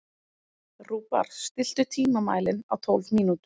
Rúbar, stilltu tímamælinn á tólf mínútur.